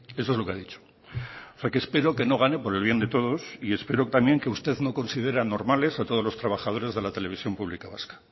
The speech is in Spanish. eso es lo que ha dicho o sea que espero que no gane por el bien de todos y espero también que usted no considere anormales a todos los trabajadores de la televisión pública vasca